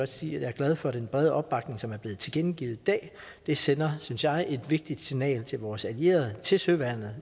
sige at jeg er glad for den brede opbakning som er blevet tilkendegivet i dag det sender synes jeg et vigtigt signal til vores allierede til søværnet